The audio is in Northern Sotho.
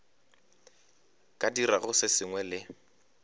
ka dirago se sengwe le